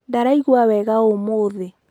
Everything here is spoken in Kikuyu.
Ndaraigua wega ũmũthĩ.